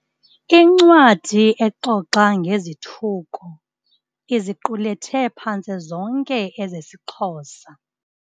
Incwadi exoxa ngezithuko iziqulethe phantse zonke ezesiXhosa.